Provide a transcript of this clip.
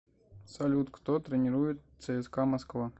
салют кто тренирует цска москва